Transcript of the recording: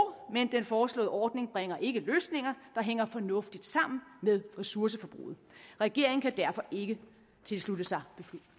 men den foreslåede ordning bringer ikke løsninger der hænger fornuftigt sammen med ressourceforbruget regeringen kan derfor ikke tilslutte sig